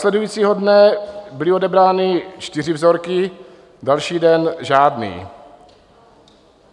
Následujícího dne byly odebrány čtyři vzorky, další den žádný."